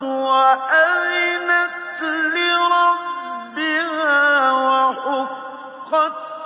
وَأَذِنَتْ لِرَبِّهَا وَحُقَّتْ